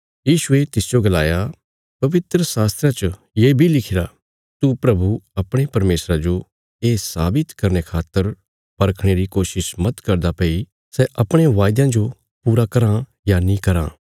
यीशुये तिसजो गलाया पवित्रशास्त्रा च ये बी लिखिरा तू प्रभु अपणे परमेशरा जो ये साबित करने खातर परखणे री कोशिश मत करदा भई सै अपणे वायदयां जो पूरा कराँ या नीं कराँ